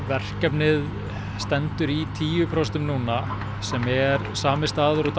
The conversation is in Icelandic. verkefnið stendur í tíu prósent núna sem er sami staður og